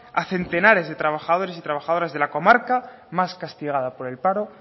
a centenares de trabajadores y trabajadoras de la comarca más castigada por el paro